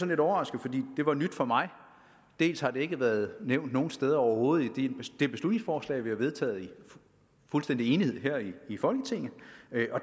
lidt overrasket for det var nyt for mig dels har det ikke været nævnt nogen steder overhovedet i det beslutningsforslag vi har vedtaget i fuldstændig enighed her i folketinget